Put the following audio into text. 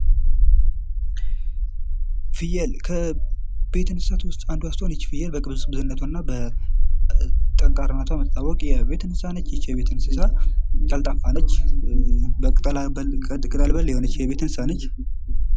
ፍየል ከቤት እንስሳት ዉስጥ አንዷ ስትሆን ይች ፍየል በቅብዝብዝነቷ እና በጠንካራነቷ የምትታወቅ የቤት እንስሳ ነች። ይች የቤት እንስሳ ቀልጣፋ ነች። ቅጠል በል የሆነች የቤት እንስሳ ነች።